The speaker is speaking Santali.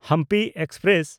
ᱦᱟᱢᱯᱤ ᱮᱠᱥᱯᱨᱮᱥ